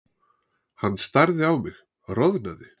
Hann starði á mig, roðnaði.